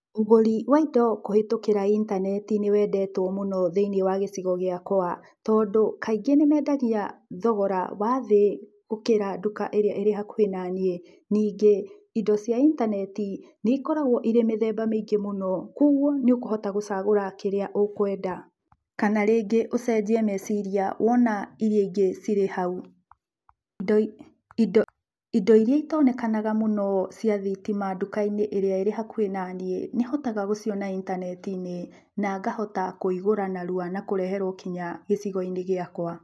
ũgũri wa indo kũhĩtũkĩra intaneti nĩwendetwo mũno thĩinĩ wa gĩcigo gĩakwa, tondũ kaingĩ nĩmendagia indo na thogora wa thĩ gũkĩra nduka ĩrĩa ĩrĩ hakuhĩ na naniĩ, ningĩ indo cia intaneti nĩikoragwo irĩ mĩthemba mĩingĩ mũno koguo nĩũkũhota gũcagũra kĩrĩa ũkwenda, kana rĩngi ũcenjie meciria wona iria ingĩ cirĩ hau. Indo iria itonekanaga mũno cia thitima ndukainĩ ĩrĩa ĩ hakuhĩ naniĩ, nĩhotaga gũciona intanetinĩ, na ngahota kũigũra narua na ngareherwo nginya gĩcigoinĩ gĩakwa.